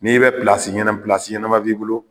N'i bɛ ɲɛna ɲɛnama b'i bolo